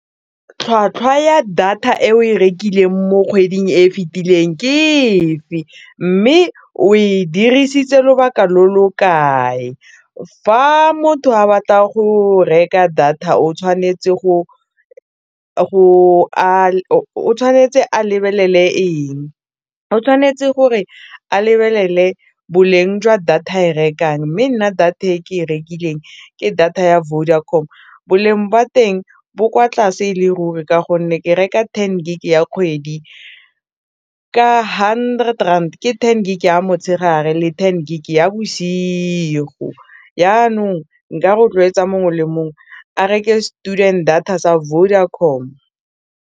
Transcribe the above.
Tlhwatlhwa ya data e o e rekileng mo kgweding e fitileng ke efe mme o e dirisitse lobaka lo lo kae, fa motho a batla go reka data o tshwanetse o tshwanetse a lebelele eng, o tshwanetse gore a lebelele boleng jwa data e rekang mme nna data e ke e rekileng ke data ya Vodacom boleng jwa teng bo kwa tlase e le ruri ka gonne ke reka ten gig ya kgwedi ka hundred rand ke ten gig ya motshegare le ten gig ya bosigo yanong nka rotloetsa mongwe le mongwe a reke student data sa Vodacom.